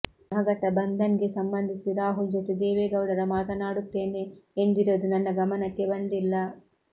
ಮಹಘಟ ಬಂದನ್ಗೆ ಸಂಬಂಧಿಸಿ ರಾಹುಲ್ ಜೊತೆ ದೇವೆಗೌಡರ ಮಾತನಾಡುತ್ತೇನೆ ಎಂದಿರೋದು ನನ್ನ ಗಮನಕ್ಕೆ ಬಂದಿಲ್ಲ